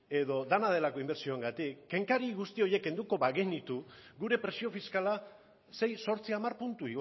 edo dena delako inbertsioengatik kenkari guzti horiek kenduko bagenitu gure presio fiskala sei zortzi hamar puntu